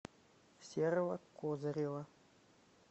серого козырева